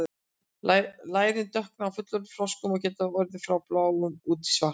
lærin dökkna á fullorðnum froskum og geta orðið frá bláum út í svart